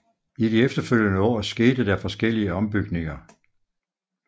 I de efterfølgende år skete der forskellige ombygninger